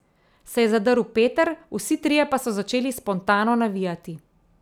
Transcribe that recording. Se je zadrl Peter, vsi trije pa so začeli spontano navijati.